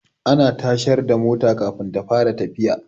Ana tashar da mota Kafin ta fara tafiya